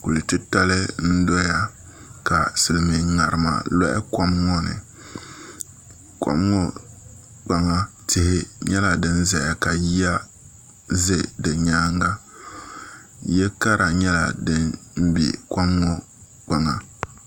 Kuli titali n doya ka silmiin ŋarima loɣa kom ŋo ni kom ŋo kpaŋa tihi nyɛla din ʒɛya ka yiya ʒɛ di nyaanga ya kara nyɛla din bɛ kom ŋo kpaŋa